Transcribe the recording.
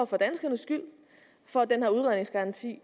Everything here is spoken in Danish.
for danskernes skyld for at den her udredningsgaranti